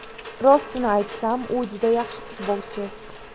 Rostini aytsam, u juda yaxshi futbolchi!